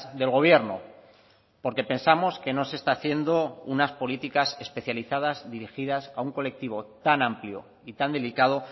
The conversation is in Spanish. del gobierno porque pensamos que no se está haciendo unas políticas especializadas dirigidas a un colectivo tan amplio y tan delicado